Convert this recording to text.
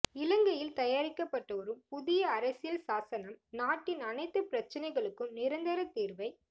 இலங்கையில் தயாரிக்கப்பட்டுவரும் புதிய அரசியல் சாசனம் நாட்டின் அனைத்துப் பிரச்சனைகளுக்கும் நிரந்தரத் தீர்வை